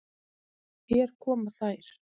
Hér koma þær.